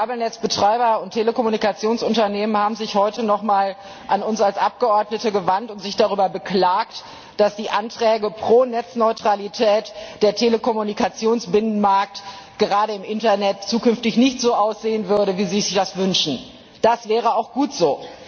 Kabelnetzbetreiber und Telekommunikationsunternehmen haben sich heute noch einmal an uns als Abgeordnete gewandt und sich darüber beklagt, dass aufgrund der Anträge für eine Netzneutralität der Telekommunikationsbinnenmarkt gerade im Internet zukünftig nicht so aussehen würde, wie sie sich das wünschen. Das wäre auch gut so.